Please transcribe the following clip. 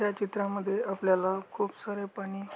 त्या चित्रामध्ये आपल्याला खूप सारे पाणी--